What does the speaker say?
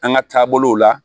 An ka taabolow la